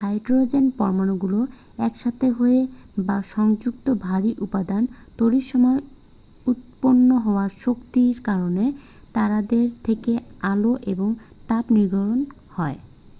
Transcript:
Hydrogen পরমাণুগুলো একসাথে হয়ে বা সংযুক্ত ভারী উপাদান তৈরির সময় উৎপন্ন হওয়া শক্তির কারণে তারাদের থেকে আলো এবং তাপ নির্গত হয়।